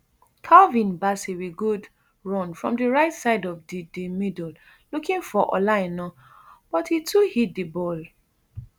calvin bassey wit good run from di right side of di di middle looking for ola aina but e too hit di ball